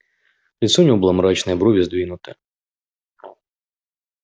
лицо у него было мрачное брови сдвинуты